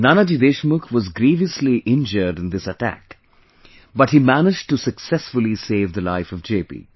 Nanaji Deshmukh was grievously injured in this attack but he managed to successfully save the life of JP